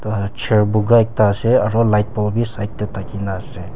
Ahh chair bokha ekta ase aro lightpole bhi side dae thakey na ase.